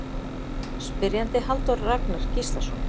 Spyrjandi Halldór Ragnar Gíslason